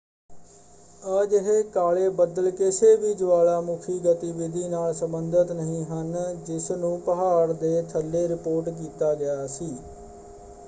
ਅਜਿਹੇ ਕਾਲੇ ਬੱਦਲ ਕਿਸੇ ਵੀ ਜਵਾਲਾਮੁੱਖੀ ਗਤੀਵਿਧੀ ਨਾਲ ਸੰਬੰਧਿਤ ਨਹੀਂ ਹਨ ਜਿਸਨੂੰ ਪਹਾੜ ਦੇ ਥੱਲੇ ਰਿਪੋਰਟ ਕੀਤਾ ਗਿਆ ਸੀ।